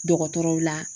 Dɔgɔtɔrɔw la